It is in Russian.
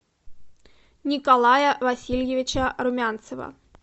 николая васильевича румянцева